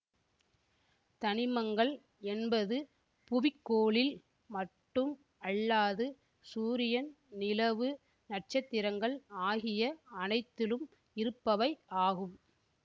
தனிமங்கள் என்பது புவிக்கோளில் மட்டும் அல்லாது சூரியன் நிலவு நட்சத்திரங்கள் ஆகிய அனைத்திலும் இருப்பவை ஆகும்